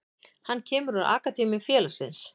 Hann kemur úr akademíu félagsins.